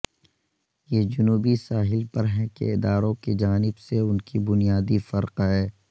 یہ جنوبی ساحل پر ہیں کہ اداروں کی جانب سے ان کی بنیادی فرق ہے